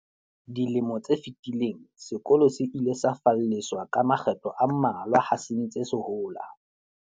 Dilemo tse fetileng, sekolo se ile sa falleswa ka makgetlo a mmalwa ha se ntse se hola.